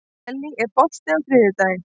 Ellý, er bolti á þriðjudaginn?